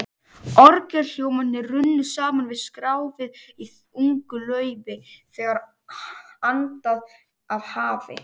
Orgelhljómarnir runnu saman við skrjáfið í ungu laufi, þegar andaði af hafi.